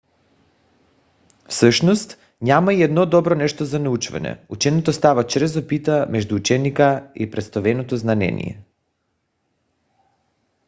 всъщност няма и едно добро нещо за научаване. ученето става чрез опита между ученика и представеното знание